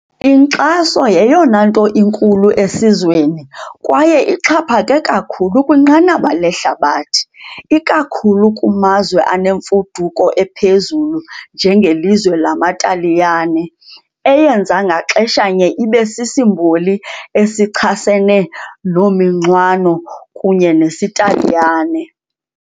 Inkxaso yeyona nto enkulu esizweni kwaye ixhaphake kakhulu kwinqanaba lehlabathi, ikakhulu kumazwe anemfuduko ephezulu njengelizwe lamaTaliyane, eyenza ngaxeshanye ibe sisimboli esichasene nominxwano kunye nesiTaliyane.